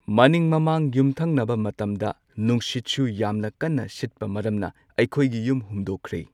ꯃꯅꯤꯡ ꯃꯃꯥꯡ ꯌꯨꯝꯊꯪꯅꯕ ꯃꯇꯝꯗ ꯅꯨꯡꯁꯤꯠꯁꯨ ꯌꯥꯝꯅ ꯀꯟꯅ ꯁꯤꯠꯄ ꯃꯔꯝꯅ ꯑꯩꯈꯣꯏꯒꯤ ꯌꯨꯝ ꯍꯨꯝꯗꯣꯛꯈ꯭ꯔꯦ꯫